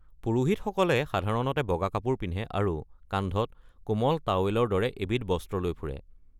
পুৰোহিতসকলে সাধাৰণতে বগা কাপোৰ পিন্ধে আৰু কান্ধত কোমল টাৱেলৰ দৰে এবিধ বস্ত্ৰ লৈ ফুৰে।